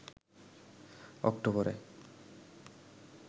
অক্টোবরে